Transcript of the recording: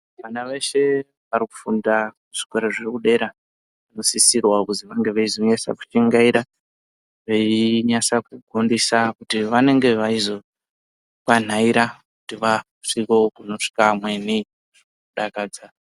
Vana veshe varikufunda kuzvikora zviri kudera vanosisirwa kuziva ngevezenyanyisa kushingaira, vechinyanya kufundiswa kuti vanenge veizokwanhaira kuti vasvike kunosvika vamweni kudakadza.